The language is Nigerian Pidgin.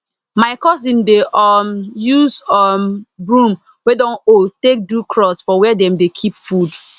my cousin dey um use um broom wey don old take do cross for where them dey keep food